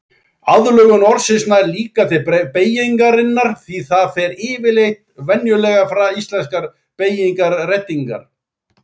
Aðlögun orðsins nær líka til beygingarinnar því það fær yfirleitt venjulegar íslenskar beygingarendingar.